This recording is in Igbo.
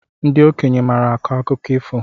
Ndị okenye maara akọ akụkọ ifo